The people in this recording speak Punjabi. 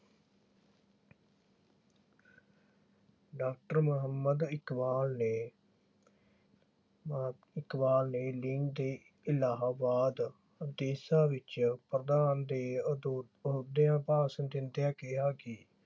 ਡਾਕਟਰ ਮੁਹੰਮਦ ਇਕਬਾਲ ਨੇ ਇਕਬਾਲ ਨੇ ਲੀਗ ਦੇ ਇਲਾਹਾਬਾਦ ਵਿੱਚ ਪ੍ਰਧਾਨ ਦੇ ਅਹੁਦਿਆਂ ਭਾਸ਼ਣ ਦਿੰਦਿਆਂ ਕਿਹਾ ਕਿ